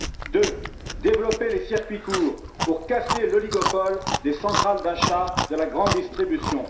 Deuxièmement, développer les circuits courts pour casser l'oligopole des centrales d'achat de la grande distribution.